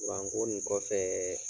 Kuranko nin kɔfɛ